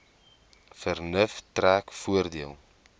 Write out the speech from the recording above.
vernuf trek voordeel